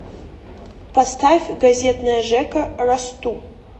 поставь газетная жека расту